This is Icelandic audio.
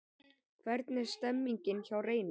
Hvernig er stemningin hjá Reyni?